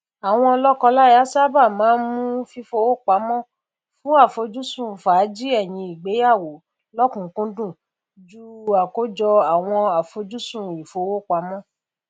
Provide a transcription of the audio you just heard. àwọn lọkọláya sáabà máa n mú fífowó pamọ fún afojusun fàájì ẹyìn ìgbéyàwó lọkùnunkúndùn ju àkójọ àwọn àfojúsùn ìfowópamọ